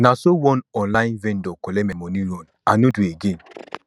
na so one online vendor collect my moni run i no do again